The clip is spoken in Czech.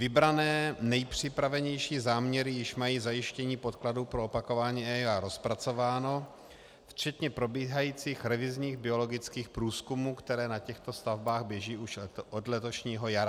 Vybrané nejpřipravenější záměry již mají zajištění podkladů pro opakování EIA rozpracováno včetně probíhajících revizních biologických průzkumů, které na těchto stavbách běží už od letošního jara.